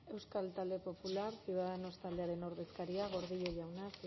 euskal talde popularra ciudadanos taldearen ordezkaria gordillo jauna